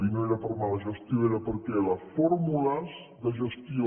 i no era per mala gestió era perquè les fórmules de gestió